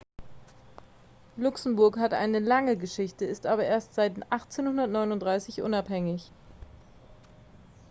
luxemburg hat eine lange geschichte ist aber erst seit 1839 unabhängig